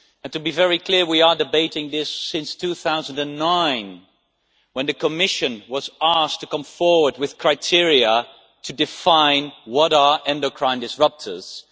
To be very clear, we have been debating this since 2009 when the Commission was asked to come forward with criteria to define what endocrine disruptors are.